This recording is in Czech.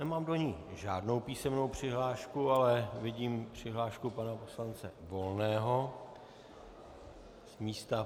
Nemám do ní žádnou písemnou přihlášku, ale vidím přihlášku pana poslance Volného z místa.